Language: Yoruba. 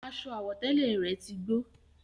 Aṣọ àwọ̀tẹ́lẹ̀ rẹ̀ tí gbó